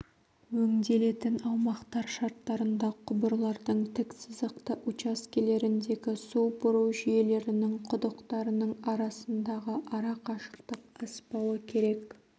өңделетін аумақтар шарттарында құбырлардың тік сызықты учаскелеріндегі су бұру жүйелерінің құдықтарының арасындағы арақашықтық аспауы керек